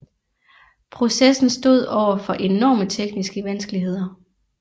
Processen stod overfor enorme tekniske vanskeligheder